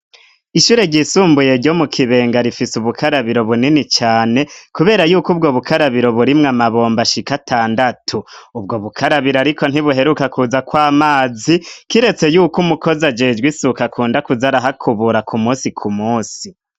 Ishure ryisumbuye ryo mukibenga rifise ubukarabiro bunini cane kubera yuko ubwo bukarabiro birimwo amabomba ashika atandatu. Ubwo bukarabiro ariko ntibuheruka kuza kw'amazi kiretse yuko umukozi ajejwe isuka akunda kuza arahakubura kumusi kumusi.